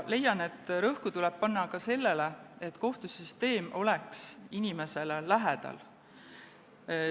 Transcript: Leian, et rõhku tuleb panna ka sellele, et kohtusüsteem oleks inimesele lähedal.